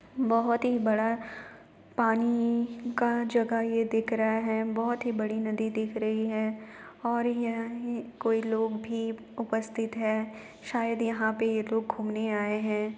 बहुत ही बड़ा पानी का जगह ये दिख रहा है बहुत ही बड़ी नदी दिख रही है और यही कोई लोग भी उपस्थित हैंशायद यहाँ पे ये लोग घूमने आये हैं ।